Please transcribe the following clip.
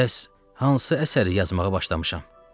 Bəs hansı əsəri yazmağa başlamışam?